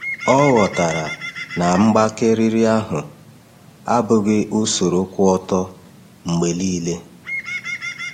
Ọ ghọtara na mgbake riri ahụ abụghị usoro kwụ ọtọ mgbe niile.